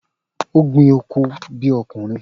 O gbin oko bi okunrin.